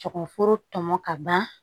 Kɔkɔ foro tɔmɔ ka ban